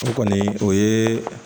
O kɔni o ye